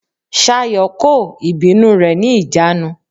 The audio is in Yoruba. Ṣayọ̀ kò ìbínú rẹ̀ ní ìjánu.